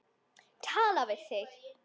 Tala við þig.